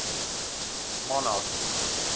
monarchy